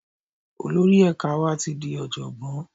Olórí ẹ̀ka wa ti di Ọ̀jọ̀gbọ́n.